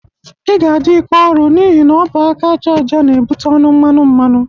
Ị ga-adị ike ọrụ n'ihi na ọ bụ aka aja aja na-ebute ọnụ mmanụ mmanụ.